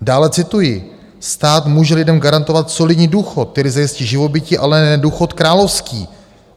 Dále cituji: "Stát může lidem garantovat solidní důchod, který zajistí živobytí, ale ne důchod královský.